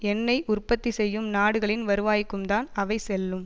எண்ணெய் உற்பத்தி செய்யும் நாடுகளின் வருவாய்க்கும் தான் அவை செல்லும்